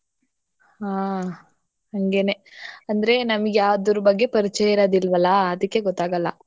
ಹಾ ಹಂಗೇನೇ. ಅಂದ್ರೆ ನಮ್ಗೆ ಅದ್ರು ಬಗ್ಗೆ ಪರಿಚಯ ಇರೋದಿಲ್ವಲಾ ಅದಿಕ್ಕೆ ಗೊತ್ತಾಗಲ್ಲ